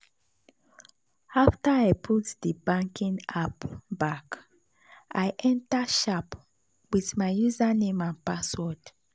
after i put the banking app back i enter sharp with my username and password.